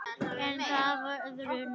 En það var öðru nær!